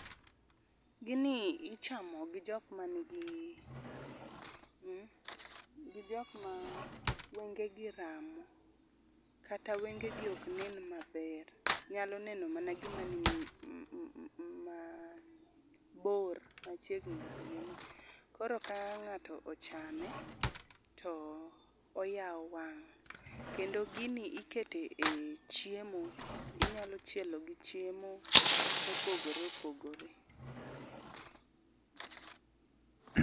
Gini ichamo gi jokma nigi, mmmh, gi jokma wenge gi ramo.,kata wenge gi ok nen maber, nyalo neno mana ngima ni mabor, machiegni ok ginee. koro Ka ngato ochamo to oyaw wang. Kendo gini iketo e chiemo ,inyalo chielo gi chiemo mopogore opogore